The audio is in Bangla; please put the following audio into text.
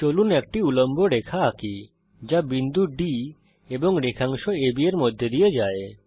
চলুন একটি উল্লম্ব রেখা আঁকি যা বিন্দু D এবং রেখাংশ AB এর মধ্যে দিয়ে যায়